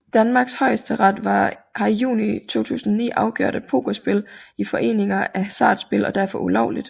Danmarks højesteret har i juni 2009 afgjort at pokerspil i foreninger er hasardspil og derfor ulovligt